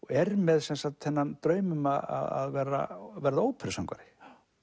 er með þennan draum um að verða verða óperusöngvari